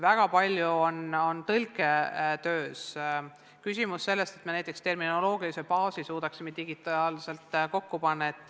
Väga palju on tõlketöös küsimusi sellest, et me suudaksime näiteks terminoloogilise baasi digitaalselt kokku panna.